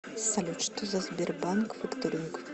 салют что за сбербанк факторинг